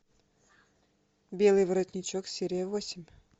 белый воротничок серия восемь